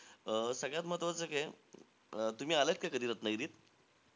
अं सगळ्यात महत्वाचं काय आहे? तुम्ही आल्यात का कधी रत्नागिरीत?